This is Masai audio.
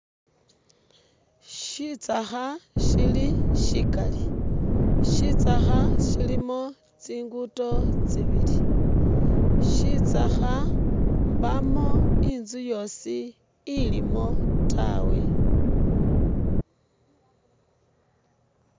Shitsakha shili shikali, shitsakha shilimo tsinguudo tsibili. Shitsakha mbamu inzu yosi ilimo tawe.